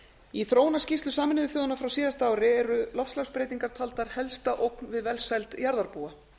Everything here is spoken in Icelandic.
í þróunarskýrslu sameinuðu þjóðanna frá síðasta ári eru loftslagsbreytingar taldar helsta ógn við velsæld jarðarbúa